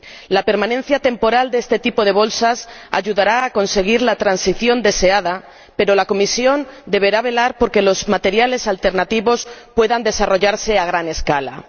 La permanencia temporal de este tipo de bolsas ayudará a conseguir la transición deseada, pero la Comisión deberá velar por que los materiales alternativos puedan desarrollarse a gran escala.